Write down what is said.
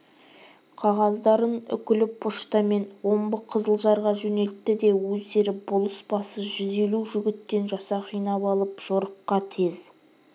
қағаздарын үкілі поштамен омбы қызылжарға жөнелтті де өздері болыс басы жүз елу жігіттен жасақ жинап алып жорыққа тез